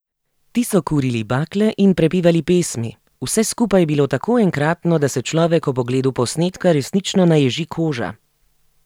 Ti so kurili bakle in prepevali pesmi, vse skupaj je bilo tako enkratno, da se človek ob ogledu posnetka resnično naježi koža.